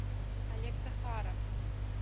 олег захаров